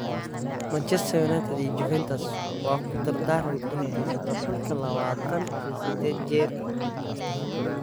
Manchester United iyo Juventus waa ku dardaaran inay haysato xulka lawatan iyo sided jirka ah.